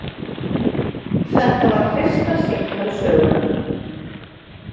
Þetta var fyrsta símtal sögunnar.